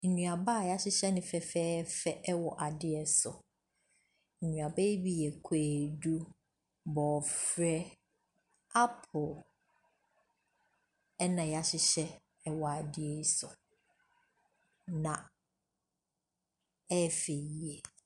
Nnuaba a yɛahyehyɛ no fɛfɛɛfɛ wɔ adeɛ so. Nnuaba yi bi yɛ kwadu, bɔɔfrɛ, apple na yɛahyehyɛ wɔ adeɛ so. Na ɛyɛ fɛ yiye.